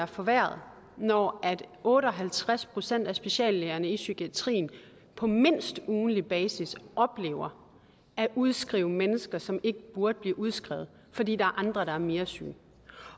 forværret når otte og halvtreds procent af speciallægerne i psykiatrien på mindst ugentlig basis oplever at udskrive mennesker som ikke burde blive udskrevet fordi der er andre der er mere syge